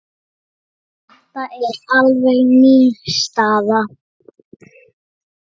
Þetta er alveg ný staða.